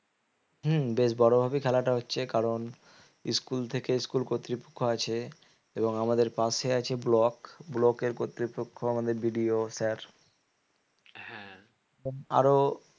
হম বেশ বড় ভাবে খেলাটা হচ্ছে কারণ school থেকে school কর্তৃপক্ষ আছে এবং আমাদের পাশে আছে block block এর কর্তৃপক্ষ আমাদের BDO sir হ্যাঁ আরো